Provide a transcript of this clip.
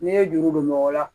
N'i ye juru don mɔgɔ la